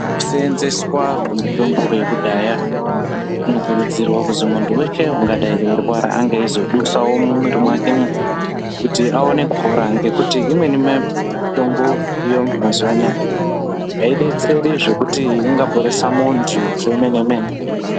Kuseenzeswa kwemitombo yekudhaya kunokuridzirwa kuzi muntu weshe ungadi eirwara ange eizodusawo mumwiri mwakemwo kuti aone kupora ngekuti imweni mitombo yomazuwa anaya aidetseri zvekuti ingaporesa muntu zvemene mene.